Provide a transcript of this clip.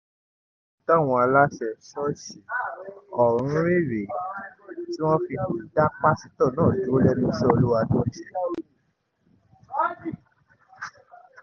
ohun táwọn aláṣẹ ṣọ́ọ̀ṣì ọ̀hún rí rèé tí wọ́n fi dá pásítọ̀ náà dúró lẹ́nu iṣẹ́ olúwa tó ń ṣe